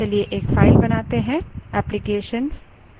चलिए file बनाते हैं